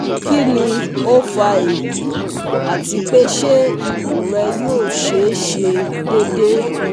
Kini o fa eyi ati pe se ikun re yo se se dede